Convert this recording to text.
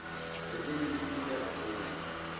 letinye tibita kakhulu